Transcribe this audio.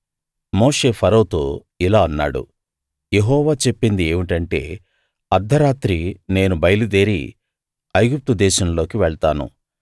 మోషే ఫరోతో ఇలా అన్నాడు యెహోవా చెప్పింది ఏమిటంటే అర్థరాత్రి నేను బయలుదేరి ఐగుప్తు దేశంలోకి వెళ్తాను